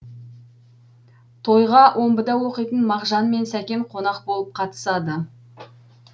тойға омбыда оқитын мағжан мен сәкен қонақ болып қатысады